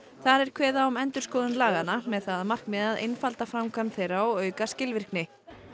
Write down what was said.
þar er kveðið á um endurskoðun laganna með það að markmiði að einfalda framkvæmd þeirra og auka skilvirkni